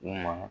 U ma